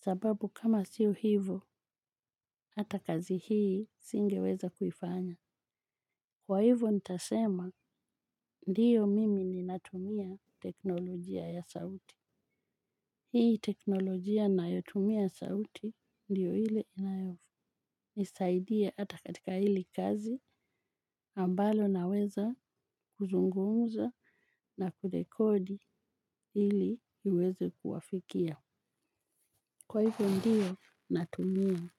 sababu kama sio hivo hata kazi hii singeweza kuifanya. Kwa hivo nitasema ndiyo mimi ninatumia teknolojia ya sauti. Hii teknolojia nayotumia sauti ndiyo ile inayonisaidia hata katika hili kazi ambalo naweza kuzungumza na kurekodi ili hiweze kuwafikia kwa hivo ndiyo natumia.